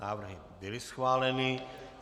Návrhy byly schváleny.